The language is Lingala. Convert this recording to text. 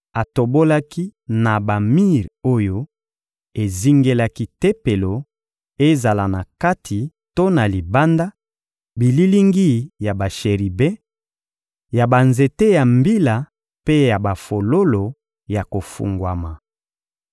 Atobolaki na bamir oyo ezingelaki Tempelo, ezala na kati to na libanda, bililingi ya basheribe, ya banzete ya mbila mpe ya bafololo ya kofungwama.